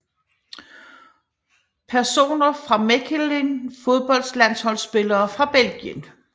Personer fra Mechelen Fodboldlandsholdsspillere fra Belgien